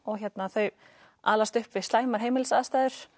þau alast upp við slæmar heimilisaðstæður